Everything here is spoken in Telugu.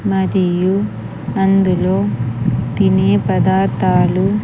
మదియు అందులో తినే పదార్థాలు--